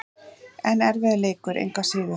En erfiður leikur, engu að síður.